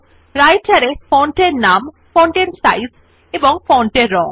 Writer এ font এর নাম ফন্ট এর সাইজ ফন্ট এর রং